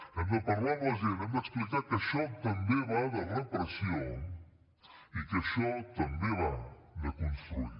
hem de parlar amb la gent hem d’explicar que això també va de repressió i que això també va de construir